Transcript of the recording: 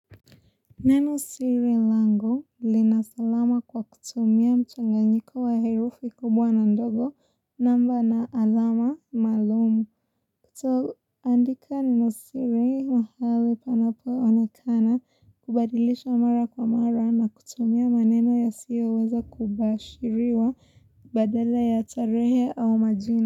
Neno siri lango linasalama kwa kutumia mchanganyiko wa herufi kubwa na ndogo namba na alama maalum. Kutoandika neno siri mahali panapo onekana kubadilisha mara kwa mara na kutumia maneno yasiyoweza kubashiriwa badala ya tarehe au majina.